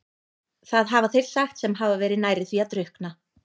Það hafa þeir sagt sem hafa verið nærri því að drukkna.